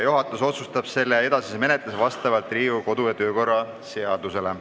Juhatus otsustab selle edasise menetluse vastavalt Riigikogu kodu- ja töökorra seadusele.